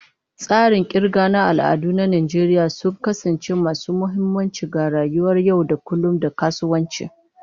Tsarin kirga na al'ada na Najeriya sun kasance masu mahimmanci ga rayuwar yau da kullun da kasuwanci.